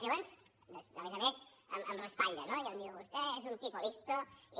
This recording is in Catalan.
llavors a més a més em raspalla no i em diu vostè és un tipo listo i